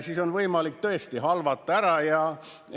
... siis on võimalik tõesti halvata ära.